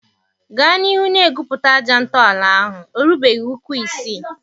Gaa n'ihu na-egwupụta aja ntọala ahụ, ọ rubeghị ụkwụ isii